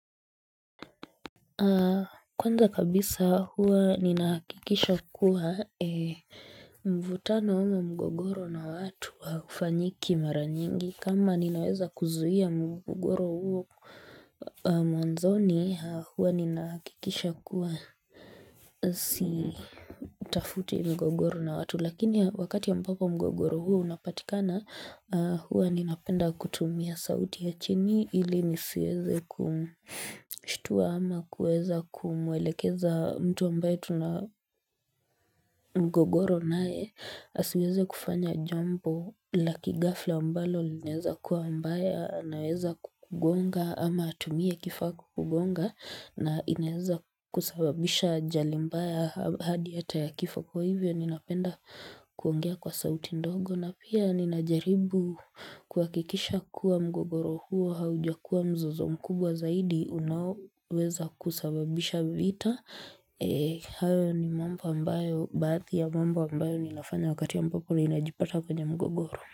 Kwanza kabisa huwa ninahakikisha kuwa mvutano ama mgogoro na watu haufanyiki mara nyingi kama ninaweza kuzuia mgogoro huo Mwanzoni huwa ninahakikisha kuwa sitafuti mgogoro na watu lakini wakati ambapo mgogoro huo unapatikana huwa ninapenda kutumia sauti ya chini ili nisieze kumshtua ama kueza kumwelekeza mtu ambae tuna mgogoro nae asiweze kufanya jombo laki ghafla ambalo linaeza kuwa mbaya anaweza kukugonga ama atumie kifaa kukugonga na inaweza kusababisha ajali mbaya hadi hata ya kifo kwa hivyo ninapenda kuongea kwa sauti ndogo na pia ninajaribu kuhakikisha kuwa mgogoro huo haujakua mzozo mkubwa zaidi unaoweza kusababisha vita hayo ni mambo ambayo baadhi ya mambo ambayo ninafanya wakati ambapo ninajipata kwenye mgogoro.